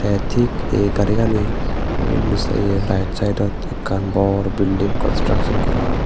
tey thik ei garigani undi sa ye right saidot ekkan bor building construction gora or.